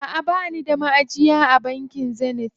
Aʼa bani da maʼajiya a bankin Zenith.